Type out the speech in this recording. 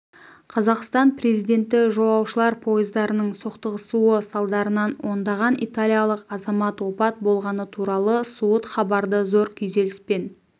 қазақстан президенті жолаушылар пойыздарының соқтығысуы салдарынан ондаған италиялық азамат опат болғаны туралы суыт хабарды зор күйзеліспен